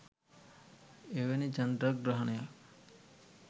එවැනි චන්ද්‍රග්‍රහණයක්